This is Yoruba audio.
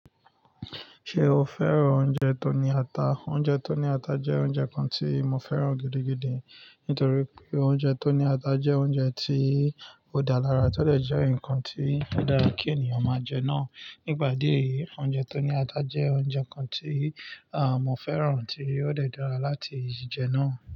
Ṣé o fẹ́ràn oúnjẹ tó ní ata? Oúnjẹ tó ní ata jẹ́ oúnjẹ kan tí mo fẹ́ràn gidigidi, nítorí pé oúnjẹ tó ní ata jẹ́ oúnjẹ tí ó dá lara, tó dè jẹ́ nǹkan tí ó dára kí ènìyàn máa jẹ náà. Nipa idé eyìí, oúnjẹ tó ní ata jẹ́ oúnjẹ kan tí mọ́ fẹ́ràn tí ó dè dára láti jẹ náà.